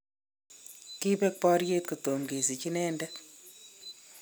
kibek boriet kotomo kesich inendet